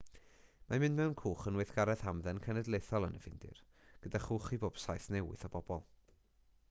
mae mynd mewn cwch yn weithgaredd hamdden cenedlaethol yn y ffindir gyda chwch i bob saith neu wyth o bobl